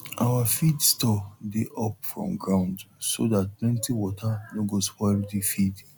our feed store dey up from ground so dat plenty water no go spoil de feed